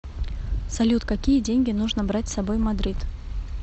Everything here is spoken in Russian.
салют какие деньги нужно брать с собой в мадрид